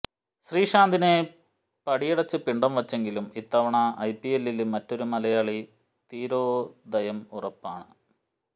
ശ്രീശാന്തിനെ പടിയടച്ച് പിണ്ഡം വച്ചെങ്കിലും ഇത്തവണ ഐ പി എല്ലില് മറ്റൊരു മലയാളി തീരോദയം ഉറപ്പാണ്